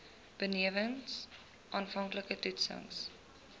benewens aanvanklike toetsings